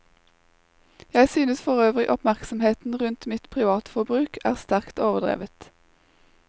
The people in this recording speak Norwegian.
Jeg synes forøvrig oppmerksomheten rundt mitt privatforbruk er sterkt overdrevet.